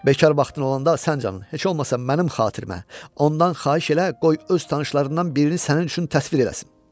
Bekar vaxtın olanda sən canın, heç olmasa mənim xatirimə ondan xahiş elə, qoy öz tanışlarından birini sənin üçün təsvir eləsin.